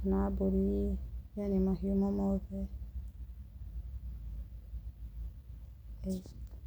kana mbũri yani mahiũ o mothe. Ĩĩ.